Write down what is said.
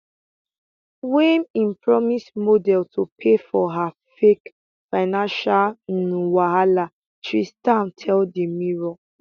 wey im promise model to pay for her fake financial um wahala tristan tell di mirror